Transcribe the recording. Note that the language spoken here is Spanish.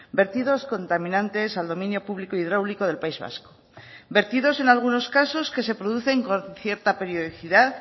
vertidos contaminantes al dominio público hidráulico del país vasco vertidos en algunos casos que se producen con cierta periodicidad